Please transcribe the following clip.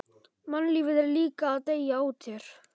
Mannlífið er líka að deyja út hér.